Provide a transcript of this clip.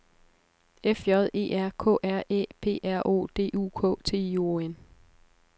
F J E R K R Æ P R O D U K T I O N